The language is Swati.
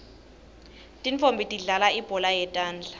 tintfonmbi tidlalal ibhola yetandla